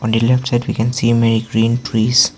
on the left side we can see a many green trees.